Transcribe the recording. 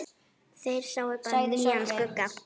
Þeir sáu bara nýjan skugga.